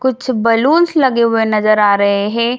कुछ बैलून्स लगे हुए नजर आ रहें हैं।